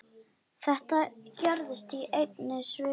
Þetta gerðist í einni svipan.